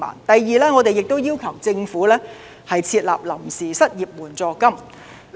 第二，我們亦要求政府設立臨時失業援助金。